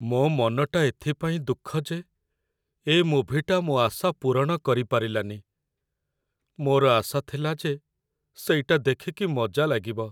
ମୋ ମନଟା ଏଥିପାଇଁ ଦୁଃଖ ଯେ ଏ ମୁଭିଟା ମୋ' ଆଶା ପୂରଣ କରିପାରିଲାନି । ମୋର ଆଶା ଥିଲା ଯେ ସେଇଟା ଦେଖିକି ମଜା ଲାଗିବ ।